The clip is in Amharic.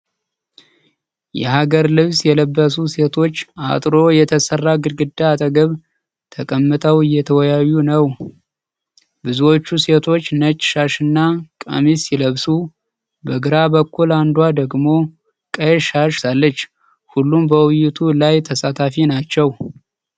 የሀገር ልብስ የለበሱ ሴቶች አጥሮ የተሰራ ግድግዳ አጠገብ ተቀምጠው እየተወያዩ ነው። ብዙዎቹ ሴቶች ነጭ ሻሽና ቀሚስ ሲለብሱ፣ በግራ በኩል አንዷ ደግሞ ቀይ ሻሽ ለብሳለች። ሁሉም በውይይቱ ላይ ተሳታፊ ናቸው።